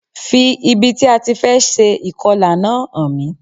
Fi ibi tí a ti fẹ́ se ìkọlà náà hàn mí